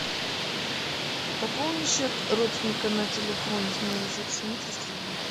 пополни счет родственника на телефоне с моего счета сними триста рублей